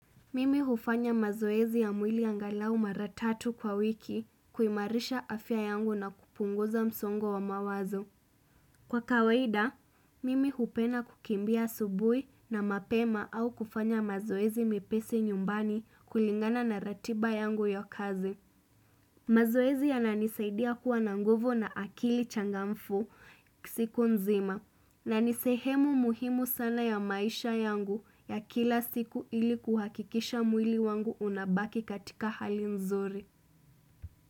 Mimi hufanya mazoezi ya mwili angalau mara tatu kwa wiki kuimarisha afya yangu na kupunguza msongo wa mawazo. Kwa kawaida, mimi hupenda kukimbia asubuhi na mapema au kufanya mazoezi mepesi nyumbani kulingana na ratiba yangu ya kazi. Mazoezi yananisaidia kuwa na nguvu na akili changamfu siku nzima na ni sehemu muhimu sana ya maisha yangu ya kila siku ili kuhakikisha mwili wangu unabaki katika hali nzuri.